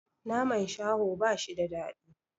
Naman shaho bashi da daɗi